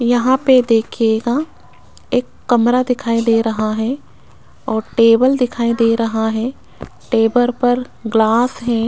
यहां पे देखिएगा एक कमरा दिखाई दे रहा है और टेबल दिखाई दे रहा है टेबल पर ग्लास है।